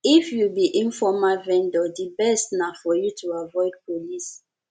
if you be informal vendor di best na for you to avoid police